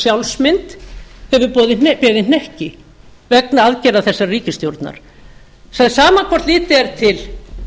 sjálfsmynd hefur beðið hnekki vegna aðgerðar þessarar ríkisstjórnar það er sama hvort litið er til